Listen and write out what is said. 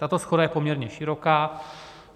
Tato shoda je poměrně široká.